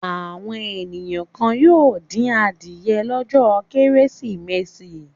Àwọn ènìyàn kan yóò dín adìẹ lọ́jọ́ Kérésìmesì.